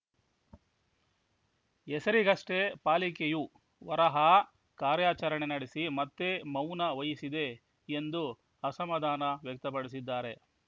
ಹೆಸರಿಗಷ್ಟೇ ಪಾಲಿಕೆಯು ವರಹಾ ಕಾರ್ಯಾಚರಣೆ ನಡೆಸಿ ಮತ್ತೆ ಮೌನ ವಹಿಸಿದೆ ಎಂದು ಅಸಮಾಧಾನ ವ್ಯಕ್ತಪಡಿಸಿದ್ದಾರೆ